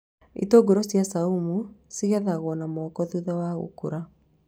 Itũngũrũ cia caumu cigethagwo na moko thutha wa gũkũra